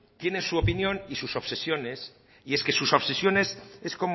tienen su opinión y sus obsesiones y es que sus obsesiones es